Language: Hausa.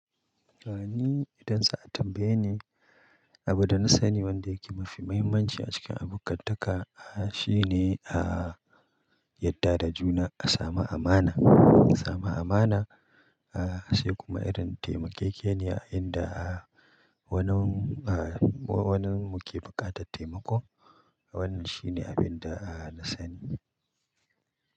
Sani idan sa a tambaye ni, abin da na sani wanda yake mafi mahimmanci a cikin abokantaka, ah shine a yadda da juna a samu amana. Sama amana, ah sai kuma irin taimakiyke ne a inda a wanin a wanin muke buƙatan taimako. Wannan shine abin da a na sani.